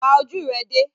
Pa ojú rẹ dé!